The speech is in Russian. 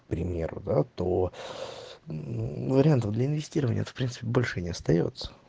пример да то вариантов для инвестирования в принципе больше не остаётся